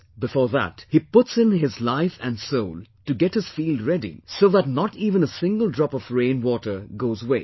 Before that, he puts in his life and soul to get his field ready so that not even a single drop of rain water goes waste